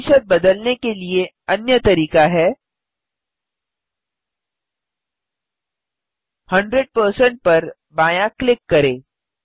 प्रतिशत बदलने के लिए अन्य तरीका है 100 पर बायाँ क्लिक करें